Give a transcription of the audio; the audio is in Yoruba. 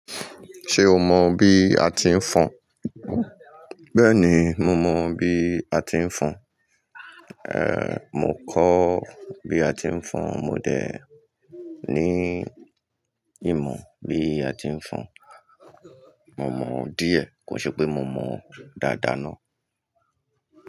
Ṣé o mọ bí a ti ń fọn? Bẹ́ẹ̀ni, mo mọ bí a ti ń fọn. Ehn, mo kọ́ bí a ti ń fọn. Mo de ní ìmọ̀ bí a ti ń fọn. Mo mọ̀ ọ́n díẹ̀, kò ṣe pé mo mọ̀ ọ́n dáadáa ná.